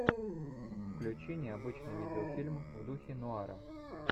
включи необычный видеофильм в духе нуара